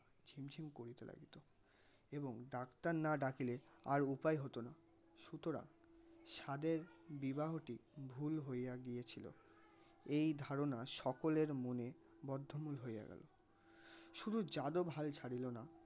এবং ডাক্তার না ডাকিলে আর উপায় হতনা. সুতরাং সাধের বিবাহটি ভুল হুইয়া গিয়েছিল এই ধারনা সকলের মনে বদ্ধমূল হইয়া গেল শুধু যাদব হাল ছাড়িলনা.